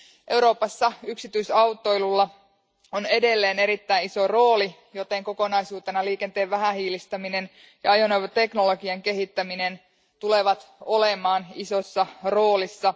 Euroopassa yksityisautoilulla on edelleen erittäin iso rooli, joten kokonaisuutena liikenteen vähähiilistäminen ja ajoneuvoteknologian kehittäminen tulevat olemaan isossa roolissa.